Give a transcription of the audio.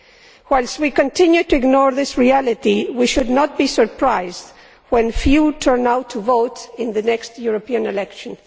If we continue to ignore this reality we should not be surprised when few turn out to vote in the next European elections.